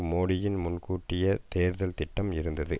மோடியின் முன்கூட்டிய தேர்தல் திட்டம் இருந்தது